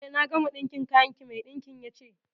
Eh, na gama ɗinkin kayan ki. Mai ɗinkin ya ce.